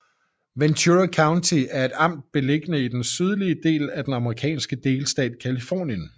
Ventura County er et amt beliggende i den sydlige del af den amerikanske delstat Californien